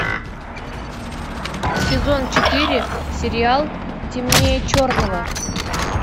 сезон четыре сериал темнее черного